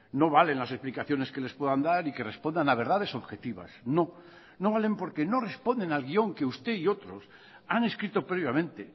no valen las explicaciones que les puedan dar y que respondan a verdades objetivas no no valen porque no responden al guión que usted y otros han escrito previamente